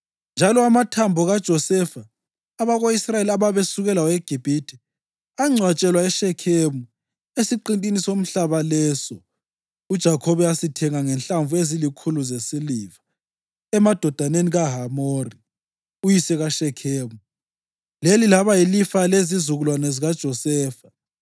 Njalo amathambo kaJosefa, abako-Israyeli ababesuke lawo eGibhithe, angcwatshelwa eShekhemu esiqintini somhlaba leso uJakhobe asithenga ngenhlamvu ezilikhulu zesiliva emadodaneni kaHamori, uyise kaShekhemu. Leli laba yilifa lezizukulwane zikaJosefa.